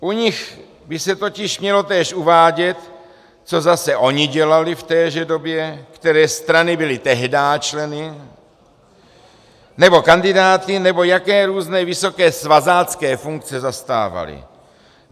U nich by se totiž mělo též uvádět, co zase oni dělali v téže době, které strany byli tehdy členy nebo kandidáty, nebo jaké různé vysoké svazácké funkce zastávali.